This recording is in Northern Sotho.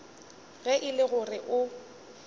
ge e le gore o